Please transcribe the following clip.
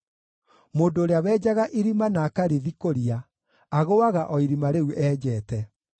Mũndũ ũrĩa wenjaga irima na akarĩthikũria, agũũaga o irima rĩu enjete.